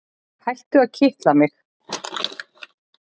Hættu að kitla mig.